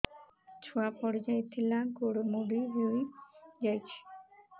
ଛୁଆ ପଡିଯାଇଥିଲା ଗୋଡ ମୋଡ଼ି ହୋଇଯାଇଛି